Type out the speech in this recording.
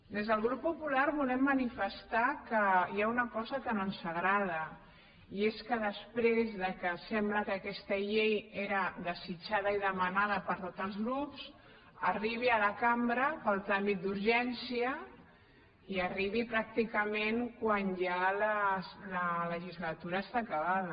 des del grup popular volem manifestar que hi ha una cosa que no ens agrada i és que després que sembla que aquesta llei era desitjada i demanada per tots els grups arribi a la cambra pel tràmit d’urgència i arribi pràcticament quan ja la legislatura està acabada